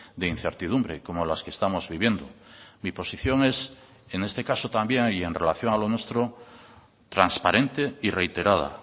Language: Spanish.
de incertidumbre como las que estamos viviendo mi posición es en este caso también y en relación a lo nuestro transparente y reiterada